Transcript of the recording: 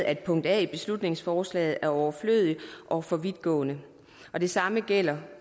at punkt a i beslutningsforslaget dermed er overflødigt og for vidtgående og det samme gælder